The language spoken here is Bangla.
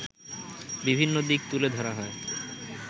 বিভিন্ন দিক তুলে ধরা হয়